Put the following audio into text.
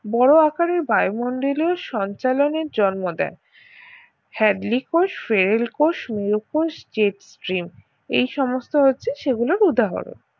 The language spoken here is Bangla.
বড় আকারের বায়ুমণ্ডলের সঞ্চালনের জন্ম দেয় হ্যাডলি কোষ ফেরেল কোষ উয় কোষ jet steam এই সমস্ত হয়েছে সেগুলোর উদাহরণ